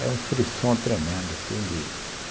Era um frisson tremendo assim de